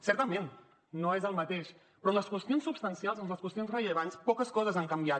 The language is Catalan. certament no és el mateix però en les qüestions substancials les qüestions rellevants poques coses han canviat